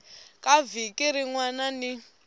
ka vhiki rin wana ni